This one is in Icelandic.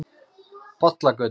Bollagötu